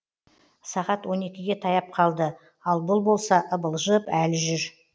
сағат он екіге таяп қалды ал бұл болса ыбылжып әлі жүр